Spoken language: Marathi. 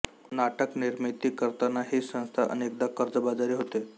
नाटक निर्मिती करताना ही संस्था अनेकदा कर्जबाजारी होते